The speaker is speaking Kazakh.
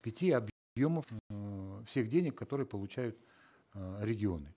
пяти э всех денег которые получают э регионы